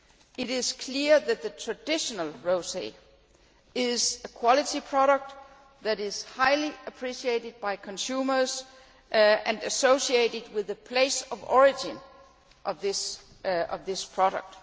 It is clear that the traditional rosé is a quality product that is highly appreciated by consumers and associated with the place of origin of this product.